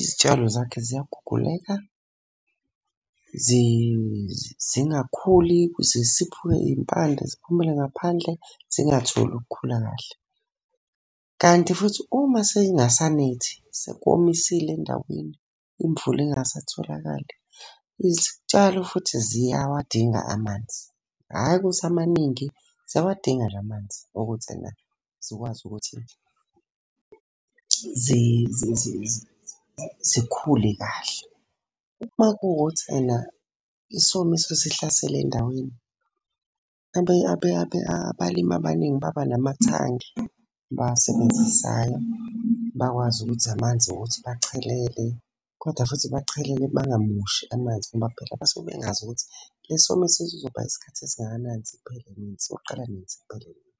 izitshalo zakhe ziyaguguleka zingakhuli zisiphuke iy'mpande ziphumele ngaphandle zingatholi ukukhula kahle. Kanti futhi uma sey'ngasa nethi, sekomisile endaweni imvula ingasatholakali, izitshalo futhi ziyawadinga amanzi. Hhayi ukuthi amaningi, ziyawadinga nje amanzi ukuthi ena zikwazi ukuthi zikhule kahle. Uma kuwukuthi ena isomiso sihlasele endaweni, abalimi abaningi baba namathangi abawasebenzisayo. Bakwazi ukuthi amanzi wokuthi bachelele, kodwa futhi bachelele bangamoshi amanzi ngoba phela basuke bengazi ukuthi le somiso sizoba isikhathi esingakanani siphele nini, soqala nini siphele nini.